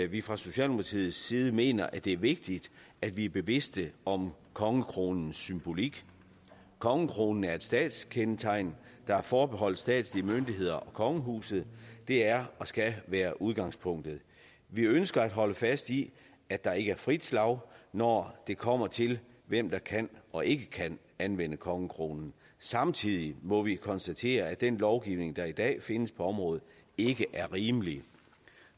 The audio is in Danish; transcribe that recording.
vi fra socialdemokratiets side mener det er vigtigt at vi er bevidste om kongekronens symbolik kongekronen er et statskendetegn der er forbeholdt statslige myndigheder og kongehuset det er og skal være udgangspunktet vi ønsker at holde fast i at der ikke er frit slag når det kommer til hvem der kan og ikke kan anvende kongekronen samtidig må vi konstatere at den lovgivning der i dag findes på området ikke er rimelig